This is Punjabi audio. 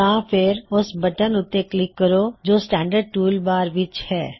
ਜਾਂ ਫੇਰ ਓਸ ਬਟਨ ਉੱਤੇ ਕਲਿੱਕ ਕਰੋ ਜੋ ਕੀ ਸ੍ਟੈਨ੍ਡਰ੍ਡ ਟੂਲ ਬਾਰ ਵਿੱਚ ਹੈ